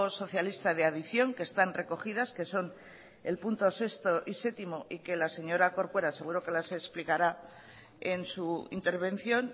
socialista de adición que están recogidas que son el punto seis y siete y que la señora corcuera seguro los explicará en su intervención